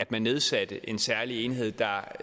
blev nedsat en særlig enhed der